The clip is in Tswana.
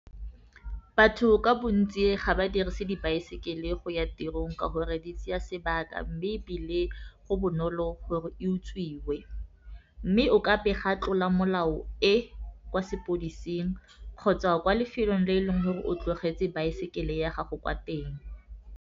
Batho ka bontsi ga ba dirise dibaesekele go ya tirong ka gore di tseya sebaka, mme ebile go bonolo gore e utswiwe. Mme o ka pega tlola molao e kwa sepodising kgotsa kwa lefelong le e leng gore o tlogetse baesekele ya gago kwa teng.